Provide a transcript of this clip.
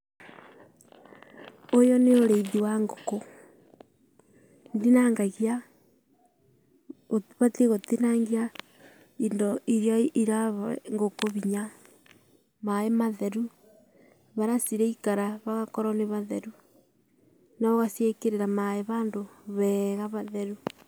Ũyũ nĩ ũrĩithi wa ngũkũ. ũbatie gũtinangia indo iria irahe ngũkũ hinya. Maĩ matheru, harĩa ciraikara hagakorwo nĩ hatheru. Na ũgaciĩkĩrĩra maĩ handũ heega hatheru.